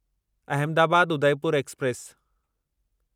Ahmedabad Udaipur express